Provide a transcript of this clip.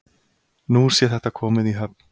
Nú sé þetta komið í höfn